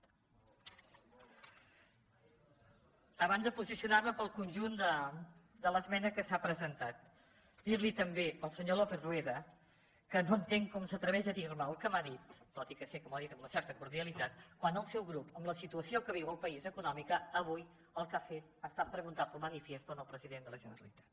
abans de posicionar·me pel conjunt de l’esmena que s’ha presentat dir·li també al senyor lópez rueda que no entenc com s’atreveix a dir·me el que m’ha dit tot i que sé que m’ho dit amb una certa cordialitat quan el seu grup amb la situació que viu el país econòmica avui el que ha fet ha estat preguntar pel manifiesto al president de la generalitat